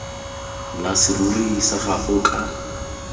la serori sa gago ka